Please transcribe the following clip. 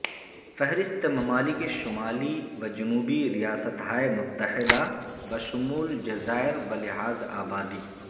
فہرست ممالک شمالی و جنوبی ریاستہائے متحدہ بشمول جزائر بلحاظ ابادی